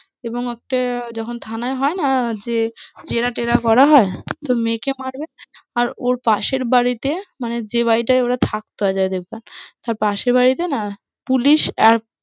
এবং একটা যখন থানায় হয় না যে জেরা টেরা করা হয়, তো মেয়েকে মারবে, আর ওর পাশের বাড়িতে মানে যে বাড়িটায় ওরা থাকতো অজয় দেবগণ, তার পাশের বাড়িতে না পুলিশ এক